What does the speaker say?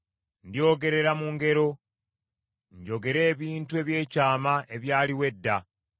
Ndyogerera mu ngero, njogere ebintu eby’ekyama ebyaliwo edda,